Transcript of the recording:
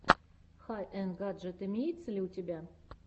хай энд гаджет имеется ли у тебя